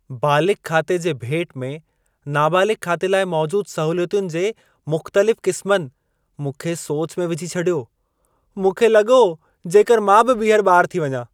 बालिग़ खाते जे भेट में नाबालिग़ु खाते लाइ मौजूद सहूलियतुनि जे मुख़्तलिफ़ क़िस्मनि मूंखे सोच में विझी छॾियो। मूंखे लॻो जेकर मां बि ॿीहर ॿारु थी वञा।